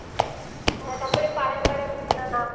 হ্যাঁ তারপরে পাড়ায় পাড়ায় ঘুরতে যাওয়া